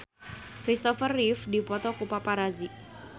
Kristopher Reeve dipoto ku paparazi